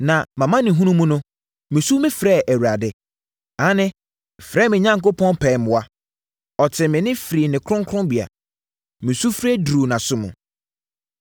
“Na mʼamanehunu mu no, mesu mefrɛɛ Awurade. Aane, mefrɛɛ me Onyankopɔn pɛɛ mmoa. Ɔtee me nne firii ne kronkronbea. Me sufrɛ duruu nʼasom.